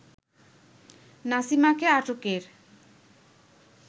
নাসিমাকে আটকের